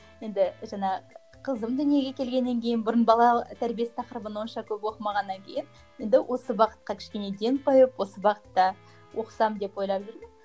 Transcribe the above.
енді жаңа қызым дүниеге келгеннен кейін бұрын бала тәрбиесі тақырыбын онша көп оқымағаннан кейін енді осы бағытқа кішкене ден қойып осы бағытта оқысам деп ойлап жүрмін